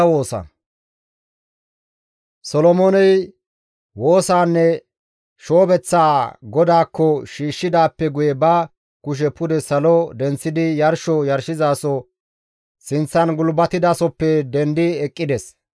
Solomooney woosaanne shoobeththaa GODAAKKO shiishshidaappe guye ba kushe pude salo denththidi yarsho yarshizaso sinththan gulbatidasoppe dendi eqqides.